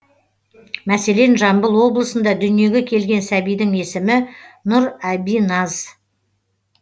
мәселен жамбыл облысында дүниеге келген сәбидің есімі нұрәбиназ